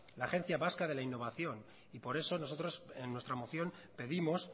la agencia vasca de la innovación y por eso nosotros en nuestra moción pedimos